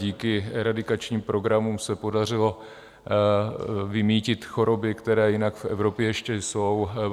Díky eradikačním programům se podařilo vymýtit choroby, které jinak v Evropě ještě jsou.